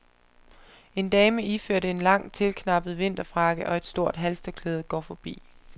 En dame iført en lang tilknappet vinterfrakke og et stort halstørklæde går forbi.